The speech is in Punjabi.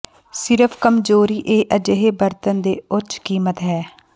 ਸਿਰਫ ਕਮਜ਼ੋਰੀ ਇਹ ਅਜਿਹੇ ਬਰਤਨ ਦੇ ਉੱਚ ਕੀਮਤ ਹੈ